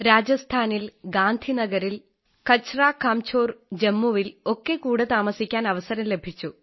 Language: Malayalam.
രാജസ്ഥാനിൽ ഗാന്ധിനഗറിൽ കഛരാകാംഝോർ ജമ്മുവിൽ ഒക്കെ കൂടെ താമസിക്കാൻ അവസരം ലഭിച്ചു